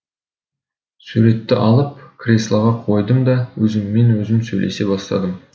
суретті алып креслоға қойдым да өзіммен өзім сөйлесе бастадым